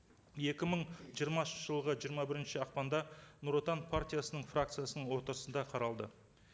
екі мың жиырмасыншы жылғы жиырма бірінші ақпанда нұр отан партиясының фракциясының отырысында қаралды